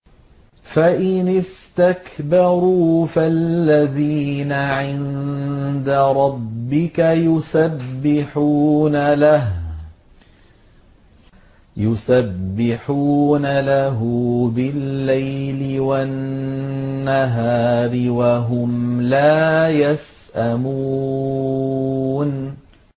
فَإِنِ اسْتَكْبَرُوا فَالَّذِينَ عِندَ رَبِّكَ يُسَبِّحُونَ لَهُ بِاللَّيْلِ وَالنَّهَارِ وَهُمْ لَا يَسْأَمُونَ ۩